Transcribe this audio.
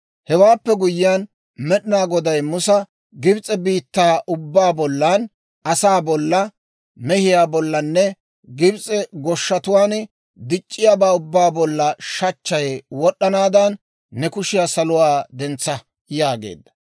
Hewaappe guyyiyaan Med'inaa Goday Musa, «Gibs'e biittaa ubbaa bollan: asaa bolla, mehiyaa bollanne Gibs'e goshshatuwaan dic'c'iyaabaa ubbaa bolla shachchay wod'd'anaadan, ne kushiyaa saluwaa dentsa» yaageedda.